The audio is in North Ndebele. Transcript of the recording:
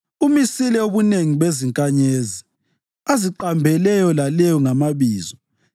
Umisile ubunengi bezinkanyezi aziqambe leyo laleyo ngamabizo.